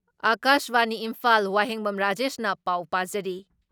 ꯑꯀꯥꯁꯕꯥꯅꯤ ꯏꯝꯐꯥꯜ ꯋꯥꯍꯦꯡꯕꯝ ꯔꯥꯖꯦꯁꯅ ꯄꯥꯎ ꯄꯥꯖꯔꯤ ꯫